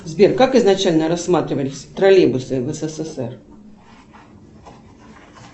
сбер как изначально рассматривались троллейбусы в ссср